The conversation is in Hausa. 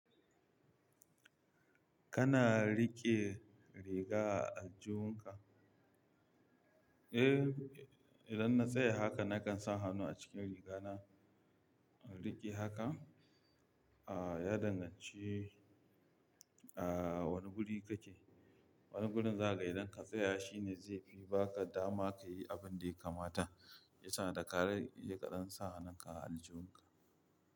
Kana riƙe riga a aljihun ka? Eh, idan na tsaya haka nakan sa hannu a cikin rigana. Riƙe haka? A ya danganci, a wane guri kake? Wane gurin za aga idan ka tsaya shine zai fi baka dama ka yi abin da ya kamata. Itana da ka riƙe don sa hannunka a aljihunka.